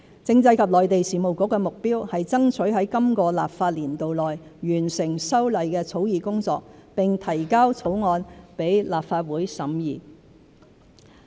政制及內地事務局的目標是爭取在今個立法年度內完成修例的草擬工作並提交草案予立法會審議。